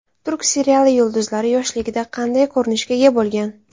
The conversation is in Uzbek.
Turk seriali yulduzlari yoshligida qanday ko‘rinishga ega bo‘lgan?